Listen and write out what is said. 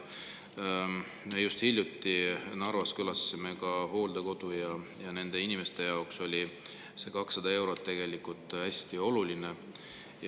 Me just hiljuti Narvas külastasime hooldekodu ja nende inimeste jaoks oli see 200 eurot tegelikult hästi oluline.